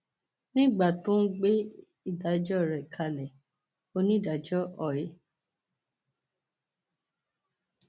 nígbà tó ń gbé ìdájọ rẹ kalẹ onídàájọ oy